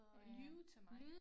Lyve